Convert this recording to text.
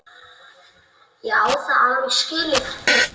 Ég á það alveg skilið.